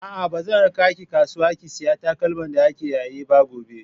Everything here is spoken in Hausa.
A'a, ba zan raka ki kasuwa ki sayi takalma da ake yayi ba gobe.